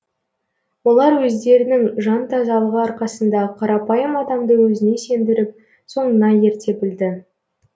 олар өздерінің жан тазалығы арқасында қарапайым адамды өзіне сендіріп соңына ерте білді